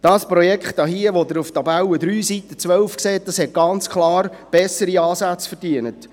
Dieses Projekt hier, wie Sie auf Seite 12 in der Tabelle 3 sehen, hat ganz klar bessere Ansätze verdient.